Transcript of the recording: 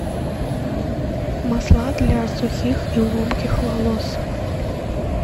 масла для сухих и ломких волос